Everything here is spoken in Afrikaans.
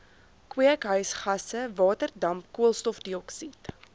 kweekhuisgasse waterdamp koolstofdioksied